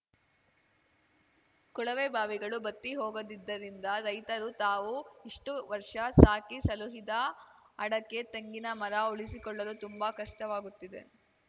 ಕೊಳವೆ ಬಾವಿಗಳು ಬತ್ತಿ ಹೋಗದಿದ್ದರಿಂದ ರೈತರು ತಾವು ಇಷ್ಟುವರ್ಷ ಸಾಕಿ ಸಲುಹಿದ ಅಡಕೆ ತೆಂಗಿನ ಮರ ಉಳಿಸಿಕೊಳ್ಳಲು ತುಂಬಾ ಕಷ್ಟವಾಗುತ್ತಿದೆ